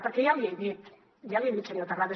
perquè ja l’hi he dit ja l’hi he dit senyor terrades